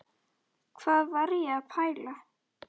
Hvað var ég að pæla?